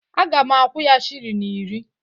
Aga m akwụ ya shilling iri